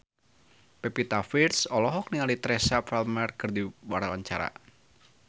Pevita Pearce olohok ningali Teresa Palmer keur diwawancara